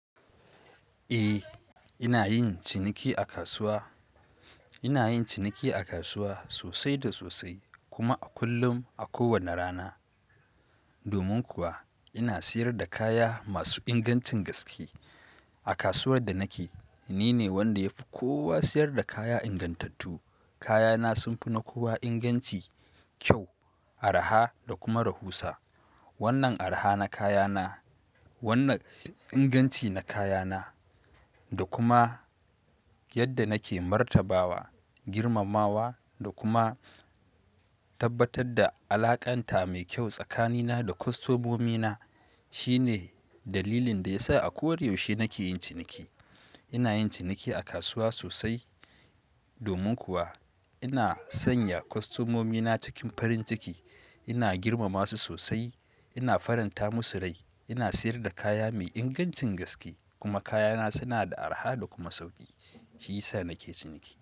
Eh, ina yin ciniki a kasuwa. Ina yin ciniki a kasuwa sosai da sosai kuma a kullum a kowane rana. Domin kuwa ina siyar da kaya masu ingancin gaske. A kasuwar da nake ni ne wanda yafi kowa siyar da kaya ingantattu. Kaya na sunfi na kowa inganci, kyau, araha da kuma rahusa. Wannan araha na kaya na, wannan inganci na kaya na da kuma yadda nake martabawa, girmamawa da kuma tabbatar da alaƙanta mai kyau tsakanina da kostomomina shine dalilin da yasa a koyaushe nake yin ciniki. Ina yin ciniki a kasuwa sosai. Domin kuwa ina sanya kostomomina cikin farin ciki, ina girmama su sosai, ina faranta musu rai, ina siyar da kaya mai ingancin gaske kuma kaya na suna da araha da kuma sauki. Shi yasa nake ciniki.